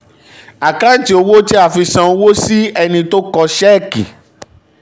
àkántì owó tí a fi san owó si ẹni tó kọ ṣẹ́ẹ̀kì.